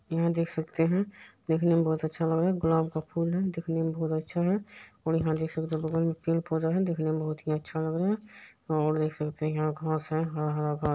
यहाँ देख सकते हैं। देखने में बहुत अच्छा लग रहा है। गुलाब का फूल है देखने में बहुत अच्छा है और यहाँ देख सकते हैं बगल में पेड़-पौधा है देखने में बहुत ही अच्छा लग रहा है और देख सकते हैं यहाँ घास है हरा-हरा घास --